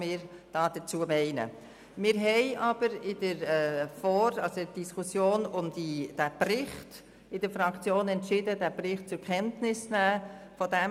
Wir haben jedoch im Rahmen der Diskussion in der Fraktion zum Bericht entschieden, diesen zur Kenntnis zu nehmen.